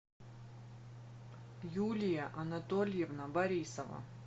юлия анатольевна борисова